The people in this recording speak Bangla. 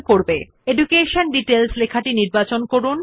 সুতরাং প্রথমে শিরোনাম এডুকেশন ডিটেইলস নির্বাচন করুন